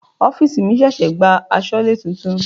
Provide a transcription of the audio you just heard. Ọ́fìsì mi ṣẹ̀ṣẹ̀ gba asọlé titun.